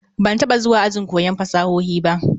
Ban taba zuwa ajin koyon fasahohi ba?